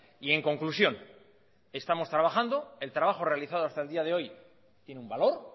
y en conclusión estamos trabajando el trabajo realizado hasta el día de hoy tiene un valor